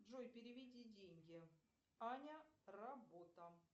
джой переведи деньги аня работа